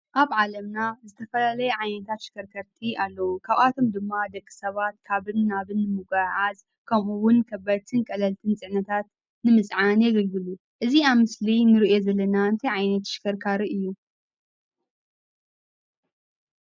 ኣብ ዓለምና ዝተፈላለዩ ዓይነት ተሽከርከርቲ ኣለው። ካብኣቶም ድማ ደቂ ሰባት ካብን ናብን ንምጉዕዓዝ ከምኡውን ከበድትን ቀለልትን ፅዕነታት ንምፅዓን የገልግሉ ። እዚ ኣብ ምስሊ እንሪኦ ዘለና ታይ ዓይነት ተሽከርካሪ እዩ?